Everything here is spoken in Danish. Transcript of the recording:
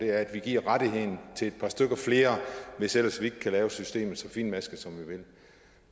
er at vi giver rettigheden til et par stykker flere hvis ellers vi ikke kan lave systemet så finmasket som vi vil